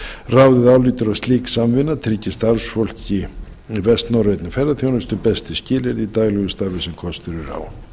ráðið álítur að slík samvinna tryggi starfsfólki í vestnorrænni ferðaþjónustu bestu skilyrði í daglegu starfi sem kostur er á